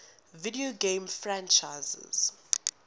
video game franchises